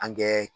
An kɛ